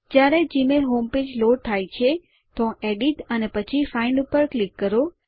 જ્યારે Gmail home page load થઇ જાય તો એડિટ અને પછી ફાઇન્ડ ઉપર ક્લિક કરો